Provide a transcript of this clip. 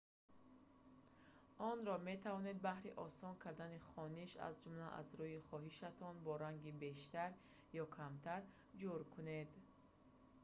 онро метавонед баҳри осон кардани хониш аз ҷумла аз рӯи хоҳишатон бо ранги бештар ё камтар ҷур кунед